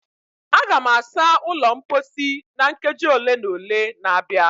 Aga m asa ụlọ mposi na nkeji ole na ole na-abịa